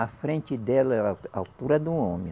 A frente dela é a altura de um homem.